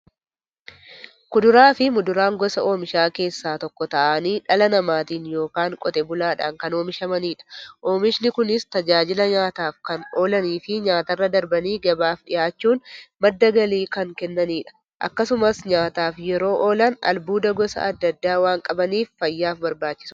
Kuduraafi muduraan gosa oomishaa keessaa tokko ta'anii, dhala namaatin yookiin Qotee bulaadhan kan oomishamaniidha. Oomishni Kunis, tajaajila nyaataf kan oolaniifi nyaatarra darbanii gabaaf dhiyaachuun madda galii kan kennaniidha. Akkasumas nyaataf yeroo oolan, albuuda gosa adda addaa waan qabaniif, fayyaaf barbaachisoodha.